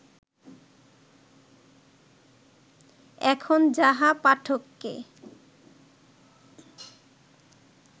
এখন যাহা পাঠককে